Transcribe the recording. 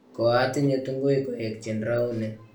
koatinye tunguik koekchini rauni